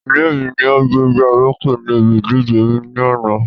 Ilé mi ni o gbégbá orókè ni ìbí ìdíje ní àná